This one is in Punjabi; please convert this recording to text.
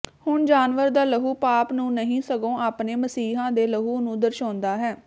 ਹੁਣ ਜਾਨਵਰ ਦਾ ਲਹੂ ਪਾਪ ਨੂੰ ਨਹੀਂ ਸਗੋਂ ਆਪਣੇ ਮਸੀਹਾ ਦੇ ਲਹੂ ਨੂੰ ਦਰਸਾਉਂਦਾ ਹੈ